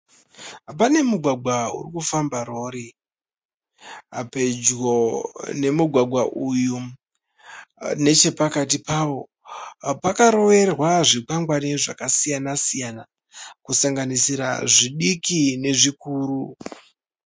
Pane mugwagwa uri kufamba rori. Pedyo nemugwagwa uyu nechepakati pawo pakaroverwa zvikwangwari zvakasiyana siyana kusanganisira zvidiki nezvikuru.